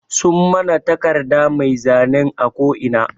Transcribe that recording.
Sun mana taƙarda mai zanen a ƙo ina.